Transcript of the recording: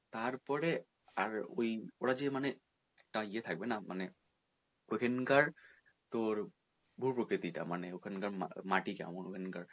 তার পরে আর ওই ওরা যে মানে একটা ইয়ে থাকবে না মানে ওইখানকার তোর ভূপ্রকৃতি টা মানে তোর মানে ওখান কার মাটি কেমন ওখানকার